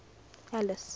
alice